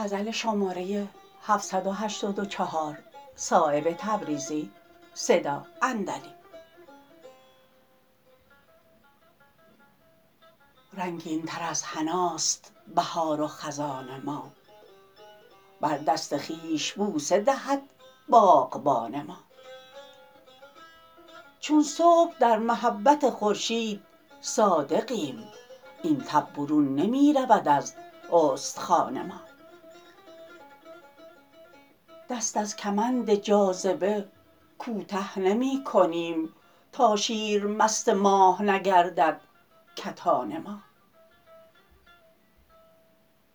رنگین تر از حناست بهار و خزان ما بر دست خویش بوسه دهد باغبان ما چون صبح در محبت خورشید صادقیم این تب برون نمی رود از استخوان ما دست از کمند جاذبه کوته نمی کنیم تا شیر مست ماه نگردد کتان ما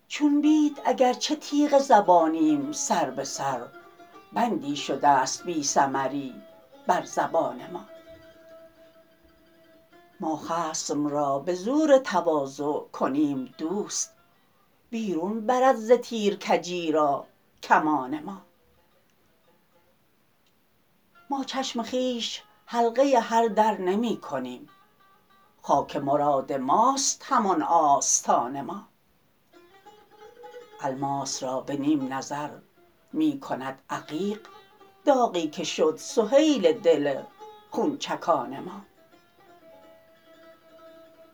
چون بید اگر چه تیغ زبانیم سر به سر بندی شده است بی ثمری بر زبان ما ما خصم را به زور تواضع کنیم دوست بیرون برد ز تیر کجی را کمان ما ما چشم خویش حلقه هر در نمی کنیم خاک مراد ماست همان آستان ما الماس را به نیم نظر می کند عقیق داغی که شد سهیل دل خونچکان ما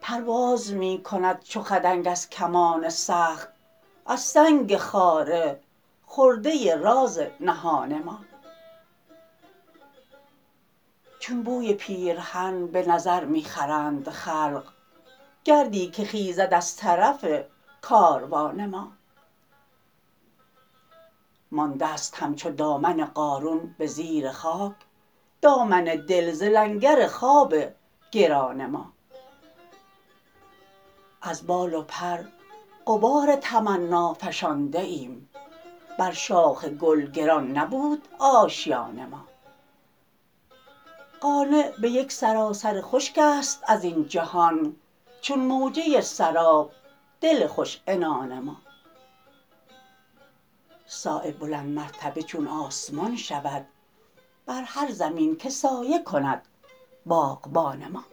پرواز می کند چو خدنگ از کمان سخت از سنگ خاره خرده راز نهان ما چون بوی پیرهن به نظر می خرند خلق گردی که خیزد از طرف کاروان ما مانده است همچو دامن قارون به زیر خاک دامان دل ز لنگر خواب گران ما از بال و پر غبار تمنا فشانده ایم بر شاخ گل گران نبود آشیان ما قانع به یک سراسر خشک است ازین جهان چون موجه سراب دل خوش عنان ما صایب بلند مرتبه چون آسمان شود بر هر زمین که سایه کند باغبان ما